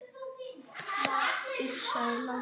Iss, sagði Lási.